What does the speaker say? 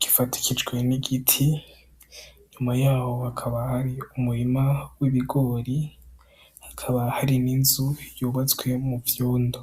gifatikijwe n'igiti nyuma yaho hakaba hari umurima w'ibigori hakaba hari n'inzu yubazwe mu vyundo.